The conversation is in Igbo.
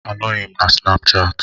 Anọghị m na Snapuchati.